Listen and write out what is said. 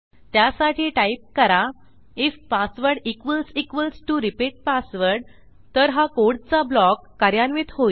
त्यासाठी टाईप करा IF password equals equals T O repeat password तर हा कोडचा ब्लॉक कार्यान्वित होईल